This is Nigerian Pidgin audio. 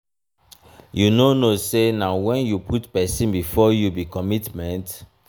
you no know sey na wen you put pesin before yoursef be commitment